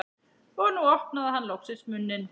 Og nú opnaði hann loksins munninn.